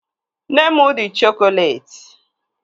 Nne m dị chokoleti